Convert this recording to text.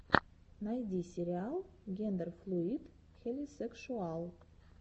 найди сериал гендерфлуид хелисекшуал